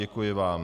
Děkuji vám.